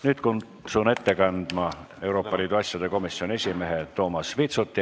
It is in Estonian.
Nüüd kutsun kõnetooli Euroopa Liidu asjade komisjoni esimehe Toomas Vitsuti.